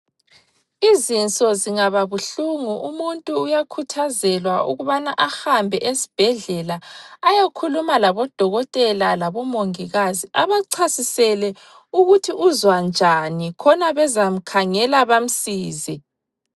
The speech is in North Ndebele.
Izinso zingaba buhlungu umuntu uyakhuthazelwa ukubana ahambe esibhedlela ayokhuluma labodokotela labomongikazi abachasisele ukuthi uzwa njani khona bezamkhangela bamsize.